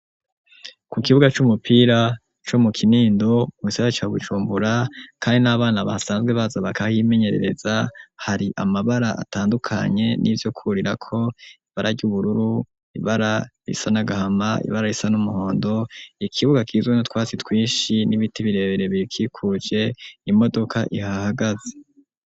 Ku kibuga y'umupira co mu kinindo mu gisara ca gucumbura kandi n'abana basanzwe baza bakahimenyerereza hari amabara atandukanye n'ivyo kurira ko baraja ubururu ibara risa nagahama ibara risa n'umuhondo ikibuga k'izwe no twasi twishi n'ibiti birebere bikikuje imodoka ihahagaze.